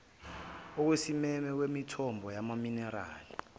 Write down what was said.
okusimeme kwemithombo yamaminerali